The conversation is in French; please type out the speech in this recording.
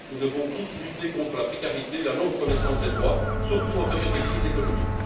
Nous devons tous lutter contre la précarité, la non reconnaissance des droits, surtout en période de crise économique.